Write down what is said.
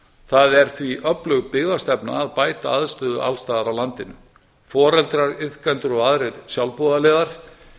það er því öflug byggðastefna að bæta aðstöðu alls staðar á landinu foreldrar iðkendur og aðrir sjálfboðaliðar